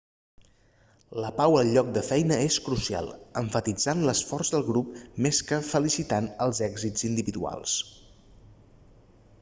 la pau al lloc de feina és crucial emfatitzant l'esforç del grup més que felicitant els èxits individuals